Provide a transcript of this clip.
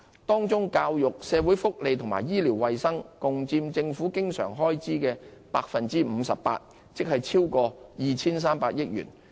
當中教育、社會福利和醫療衞生共佔政府經常開支約 58%， 即超過 2,300 億元。